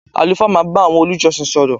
Àlùfáà má bá àwọn olùjọsìn sọ̀rọ̀